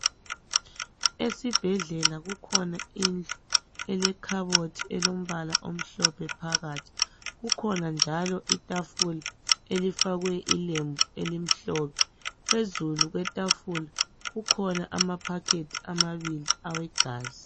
Esibhedlela kukhona indlu elekhabothi elombala omhlophe phakathi. Kukhona njalo itafula elifakwe ilembu elimhlophe. Phezulu kwetafula kukhona ama"packet" amabili awegazi.